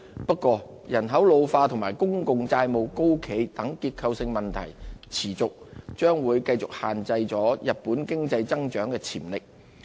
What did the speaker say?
不過，人口老化及公共債務高企等結構性問題持續，將繼續限制日本經濟增長潛力。